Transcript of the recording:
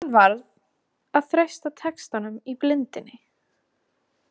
Hann varð að treysta textanum í blindni.